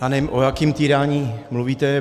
Já nevím, o jakém týrání mluvíte.